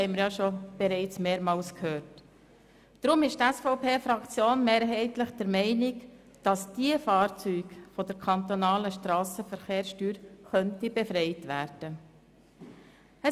Deshalb ist die SVP-Fraktion mehrheitlich der Meinung, dass diese Fahrzeuge von der kantonalen Strassenverkehrssteuer befreit werden könnten.